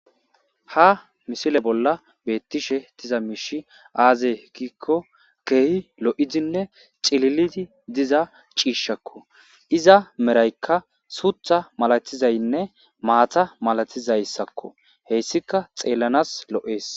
Ha missile bola betishe diza mishi aze giko kehi lo'idinne c'ililidi diza c'ishako iza merayka sutha milatizayinne matha malatizayiysako heysika xelanas lo'es.